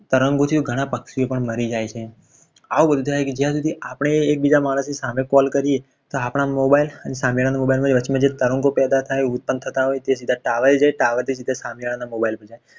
તરંગોથી ઘણા પક્ષીઓ પણ મરી જાય છે. કે જ્યાં સુધી એકબીજા મારા સામે call કરજે. તો આપણા mobile આજે સામેવાળા નો mobile વચમાં જે તરંગો પેદા થાય ઉત્પન્ન થતા હોય છે. જે tower થી tower થી સીધા સામે વાળા ના mobile માં જાય.